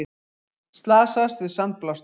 Slasaðist við sandblástur